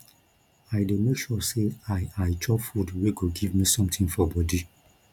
i dey make sure sey i i chop food wey go give me sometin for bodi